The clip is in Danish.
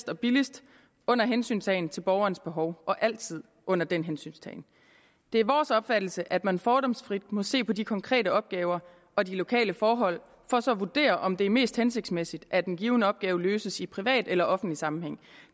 og billigst under hensyntagen til borgernes behov altid under den hensyntagen det er vores opfattelse at man fordomsfrit må se på de konkrete opgaver og de lokale forhold for så at vurdere om det er mest hensigtsmæssigt at en given opgave løses i privat eller offentlig sammenhæng